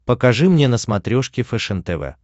покажи мне на смотрешке фэшен тв